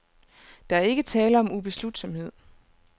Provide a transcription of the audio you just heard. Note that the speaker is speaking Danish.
Der er ikke tale om ubeslutsomhed.